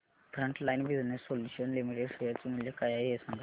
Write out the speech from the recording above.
frontline Business Solutions Limited share चे मूल्य काय आहे हे सांगा